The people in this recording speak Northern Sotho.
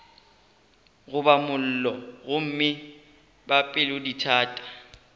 goba mollo gomme ba pelodithata